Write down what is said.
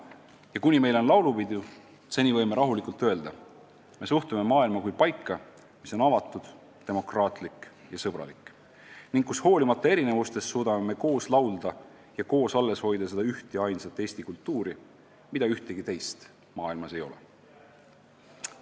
Ja kuni meil on laulupidu, seni võime rahulikult öelda: me suhtume maailma kui paika, mis on avatud, demokraatlik ja sõbralik ning kus me hoolimata erinevustest suudame koos laulda ja koos alles hoida seda üht ja ainsat eesti kultuuri, mida mujal maailmas ei ole.